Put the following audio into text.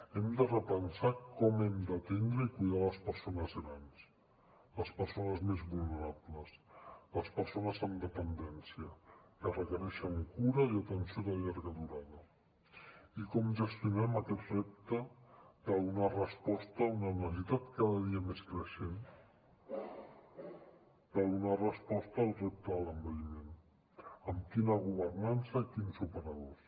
hem de repensar com hem d’atendre i cuidar les persones grans les persones més vulnerables les persones amb dependència que requereixen cura i atenció de llarga durada i com gestionem aquest repte de donar resposta a una necessitat cada dia més creixent de donar resposta al repte de l’envelliment amb quina governança i quins operadors